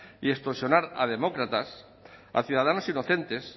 y extorsionar a demócratas a ciudadanos inocentes